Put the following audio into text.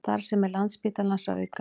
Starfsemi Landspítalans að aukast